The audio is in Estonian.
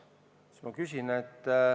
Mul tekib selline küsimus.